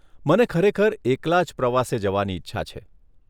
મને ખરેખર એકલા જ પ્રવાસે જવાની ઈચ્છા છે.